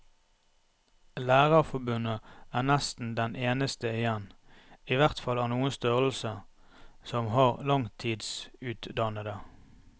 Lærerforbundet er nesten den eneste igjen, i hvert fall av noen størrelse, som har langtidsutdannede.